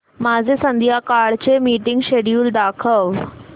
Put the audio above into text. माझे संध्याकाळ चे मीटिंग श्येड्यूल दाखव